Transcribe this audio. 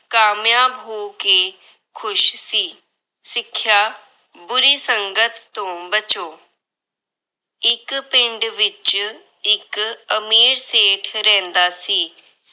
ਕਾਮਯਾਬ ਹੋ ਕੇ ਖੁਸ਼ ਸੀ। ਸਿੱਖਿਆ- ਬੁਰੀ ਸੰਗਤ ਤੋਂ ਬਚੋ। ਇੱਕ ਪਿੰਡ ਵਿੱਚ ਇੱਕ ਅਮੀਰ ਸੇਠ ਰਹਿੰਦਾ ਸੀ।